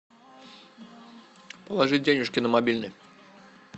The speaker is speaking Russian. положить денежки на мобильный